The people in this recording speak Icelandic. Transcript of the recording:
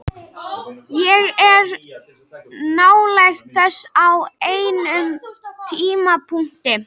Ég var nálægt þessu á einum tímapunkti.